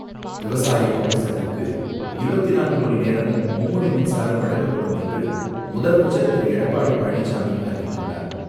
விவசாய பம்பு செட்டுக்கு இருபத்தி நான்கு மணி நேரமும் மும்முனை மின்சாரம் வழங்கப்படும் என்று முதலமைச்சர் திரு எடப்பாடி பழனிசாமி அறிவித்துள்ளார்.